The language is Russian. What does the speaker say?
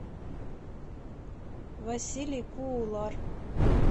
василий куулар